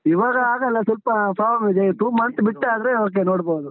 ಇವಾಗ ಆಗಲ್ಲ, ಸ್ವಲ್ಪ problem ಇದೆ. two month ಬಿಟ್ಟಾದ್ರೆ, okay ನೋಡ್ಬೋದು.